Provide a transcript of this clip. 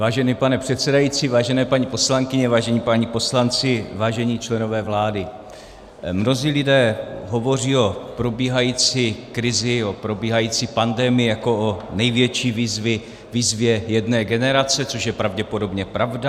Vážený pane předsedající, vážené paní poslankyně, vážení páni poslanci, vážení členové vlády, mnozí lidé hovoří o probíhající krizi, o probíhající pandemii jako o největší výzvě jedné generace, což je pravděpodobně pravda.